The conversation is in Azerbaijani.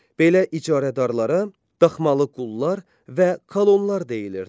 Belə icarədarlara daxmalı qullar və kolonlar deyilirdi.